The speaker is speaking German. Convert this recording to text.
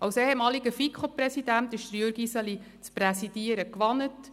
Als ehemaliger FiKo- Präsident ist Jürg Iseli das Präsidieren gewohnt.